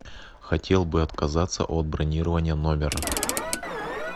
хотел бы отказаться от бронирования номера